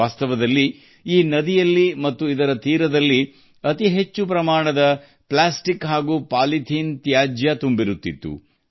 ವಾಸ್ತವದಲ್ಲಿ ಈ ನದಿ ಮತ್ತು ಅದರ ದಂಡೆಗಳು ಪ್ಲಾಸ್ಟಿಕ್ ಮತ್ತು ಪಾಲಿಥಿನ್ ತ್ಯಾಜ್ಯದಿಂದ ತುಂಬಿ ಹೋಗಿದ್ದವು